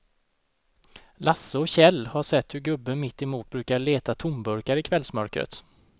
Lasse och Kjell har sett hur gubben mittemot brukar leta tomburkar i kvällsmörkret.